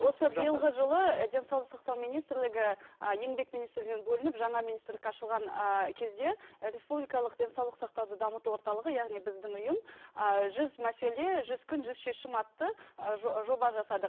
биылғы жылы денсаулық сақтау министрлігі ы еңбек министрлігінен бөлініп жаңа министрлік ашылған ыыы кезде республикалық денсаулық сақтауды дамыту орталығы яғни біздің ұйым ыыы жүз мәселе жүз күн жүз шешім атты ыыы жоба жасадық